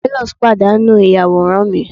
marvelous padanu mi iyaworan mi